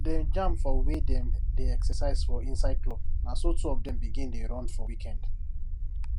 dem jam for wey dem dey exercise for inside club naso two of dem begin dey run for weekend